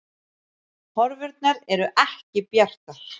Horfurnar eru ekki bjartar